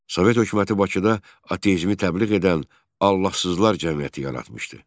Sovet hökuməti Bakıda ateizmi təbliğ edən Allahsızlar cəmiyyəti yaratmışdı.